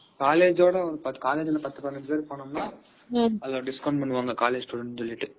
college ஓட காலேஜ்ல இருந்து ஒரு பத்து, பதினஞ்சு பேர் போனோம்னா discount பண்ணுவாங்க